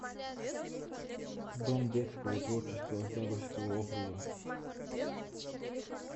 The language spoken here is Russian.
дом детского творчества октябрьского округа